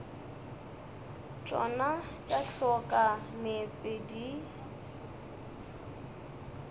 tšona tša hloka meetse di